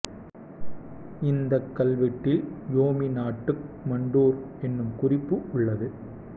இந்தக் கல்வெட்டில் யோமி நாட்டுக் குமட்டூர் என்னும் குறிப்பு உள்ளது